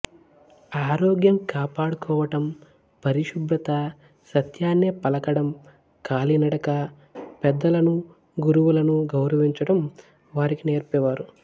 ఆరోగ్యం కాపాడుకోవటం పరిశుభ్రత సత్యాన్నే పలకడం కాలినడక పెద్దలను గురువులను గౌరవించటం వారికి నేర్పేవారు